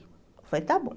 Eu falei, está bom.